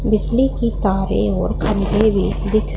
बिजली की तारे और अंधेरी दिख--